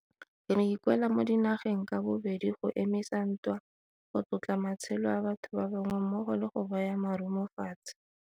Re ikuela mo dinageng ka bobedi go emisa ntwa, go tlotla matshelo a batho ba bangwe mmogo le go baya marumo fatshe.